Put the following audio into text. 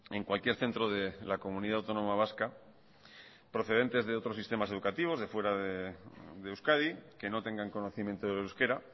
en cualquier centro de la comunidad autónoma vasca procedente de otros sistemas educativos de fuera de euskadi que no tengan conocimiento de euskera